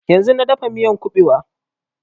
Yanzun na dafa miyan ƙubewa